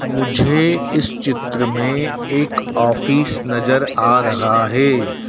मुझे इस चित्र में एक ऑफिस नजर आ रहा है।